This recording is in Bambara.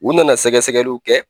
U nana sɛgɛsɛgɛliw kɛ